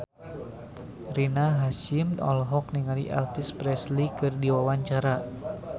Rina Hasyim olohok ningali Elvis Presley keur diwawancara